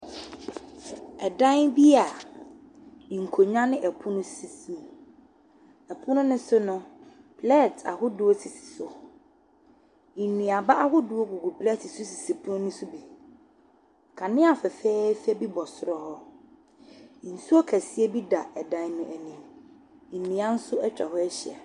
Ɛsdan bi a nkonnwa ne ɛpono bi sisi mu. Ɛpono no so no, plɛɛt ahodoɔ sisi so. Nnuaba ahodoɔ gugu plɛɛt so sisi pono no so bi. Kanea fɛfɛɛfɛ bi bɔ soro hɔ. Nsuoo kɛseɛ bi da dan no anim. Nnua nso atwa hɔ ahyia.